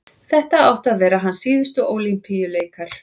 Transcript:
þetta áttu að vera hans síðustu ólympíuleikar